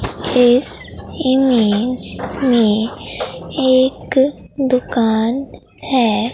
इस इमेज में एक दुकान है।